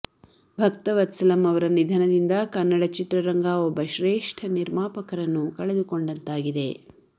ಭಕ್ತವತ್ಸಲಂ ಅವರ ನಿಧನದಿಂದ ಕನ್ನಡ ಚಿತ್ರರಂಗ ಒಬ್ಬ ಶ್ರೇಷ್ಠ ನಿರ್ಮಾಪಕರನ್ನು ಕಳೆದುಕೊಂಡಂತಾಗಿದೆ